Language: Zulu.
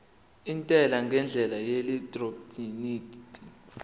intela ngendlela yeelektroniki